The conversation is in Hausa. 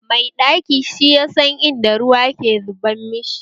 Mai ɗaki shi yasan in da ruwa ke zubar mashi